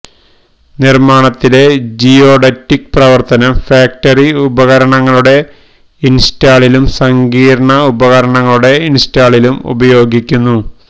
നിർമ്മാണത്തിലെ ജിയോഡറ്റിക് പ്രവർത്തനം ഫാക്ടറി ഉപകരണങ്ങളുടെ ഇൻസ്റ്റാളിലും സങ്കീർണ്ണ ഉപകരണങ്ങളുടെ ഇൻസ്റ്റാളിലും ഉപയോഗിക്കുന്നു